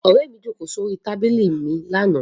Ọ̀rẹ́ mi jókòó sórí tábìlì mi lánàá.